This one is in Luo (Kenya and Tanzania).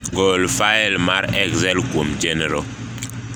gol fail mar excel kwuom chenro